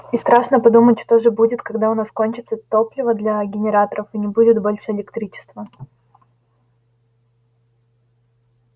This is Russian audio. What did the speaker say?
и страшно подумать что же будет когда у нас кончится топливо для генераторов и не будет больше электричества